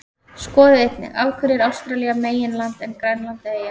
Skoðið einnig: Af hverju er Ástralía meginland en Grænland eyja?